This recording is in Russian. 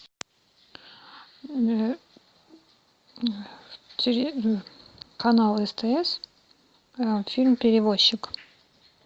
канал стс фильм перевозчик